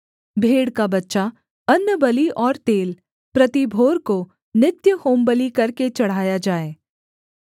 भेड़ का बच्चा अन्नबलि और तेल प्रति भोर को नित्य होमबलि करके चढ़ाया जाए